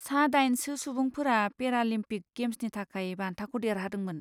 सा दाइनसो सुबुंफोरा पेरालिम्पिक गेम्सनि थाखाय बान्थाखौ देरहादोंमोन।